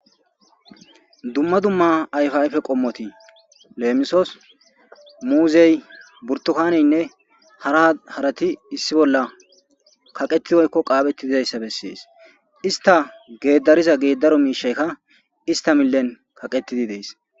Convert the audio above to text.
dumma dumma ayfa ayfe qommoti leemisos muuzey burtukaneynne hara harati issi bolla kaqetidoykko qaabetti dizayssa bessees ista geedariza geeddaro miishaykka ista millen kaqetidi dees